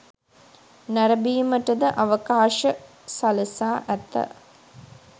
නැරඹීමට ද අවකාශ සලසා ඇත.